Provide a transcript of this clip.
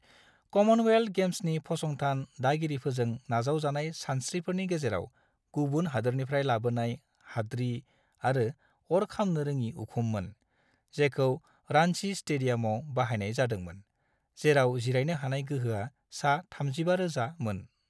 क'मनवेल्ट गेम्सनि फसंथान दागिरिफोरजों नाजावजानाय सानस्रिफोरनि गेजेराव गुबुन हादोरनिफ्राय लाबोनाय, हाद्रि आरो अर खामनो-रोङि उखुममोन, जेखौ रांची स्टेडियामआव बाहायनाय जादोंमोन, जेराव जिरायनो हानाय गोहोआ सा-35,000 मोन।